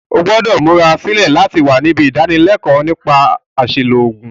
O gbúdò múra sílẹ̀ láti wa nibí ìdánilékóò nípa àsìlò ògùn